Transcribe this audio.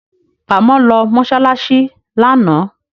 Kàmọ́ lọ mọ́ṣáláṣí lánàá